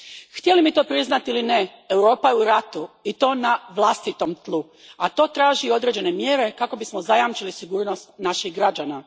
Htjeli mi to priznati ili ne, Europa je u ratu i to na vlastitom tlu, a to traži i određene mjere kako bismo zajamčili sigurnost naših građana.